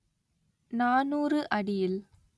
நாநூறு அடியில்